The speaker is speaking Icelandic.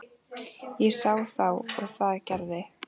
Ég sá þá og það gerði